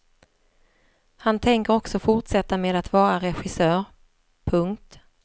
Han tänker också fortsätta med att vara regissör. punkt